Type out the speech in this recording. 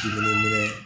Dumuni minɛ